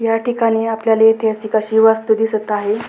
याठिकाणी आपल्याला ऐतिहासिक अशी वास्तू दिसत आहे.